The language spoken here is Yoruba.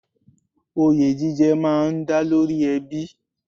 Oyè jíjẹ má a ń dá lórí ẹbí